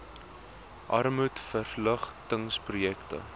armoedverlig tings projekte